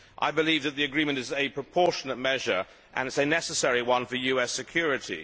I believe that the agreement is a proportionate measure and is a necessary one for US security.